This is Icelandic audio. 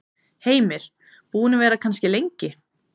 Heimir: Búin að vera það kannski lengi?